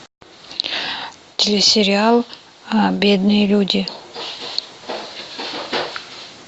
телесериал бедные люди